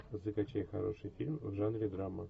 закачай хороший фильм в жанре драма